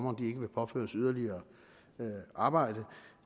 at blive påført yderligere arbejde